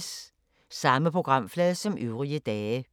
Samme programflade som øvrige dage